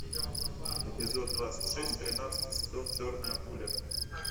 эпизод двадцать шесть тринадцатый сезон черная пуля